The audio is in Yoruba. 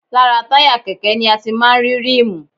Lára táyà kẹ̀kẹ́ ni a ti máa ń rí ríìmù